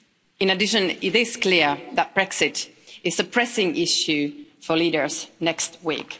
In addition, it is clear that Brexit is a pressing issue for leaders next week.